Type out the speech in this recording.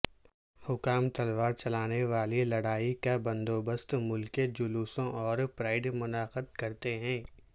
حکام تلوار چلانےوالی لڑائی کا بندوبست ملکہ جلوسوں اور پریڈ منعقد کرتے ہیں